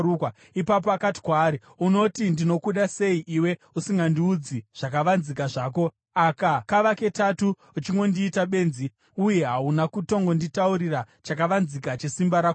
Ipapo akati kwaari, “Unoti ‘Ndinokuda’ sei iwe usingandiudzi zvakavanzika zvako? Aka kava ketatu uchingondiita benzi uye hauna kutongonditaurira chakavanzika chesimba rako guru.”